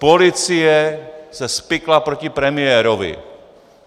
Policie se spikla proti premiérovi.